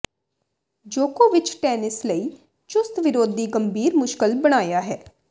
ਜੋਕੋਵਿਚ tennis ਲਈ ਚੁਸਤ ਵਿਰੋਧੀ ਗੰਭੀਰ ਮੁਸ਼ਕਲ ਬਣਾਇਆ ਹੈ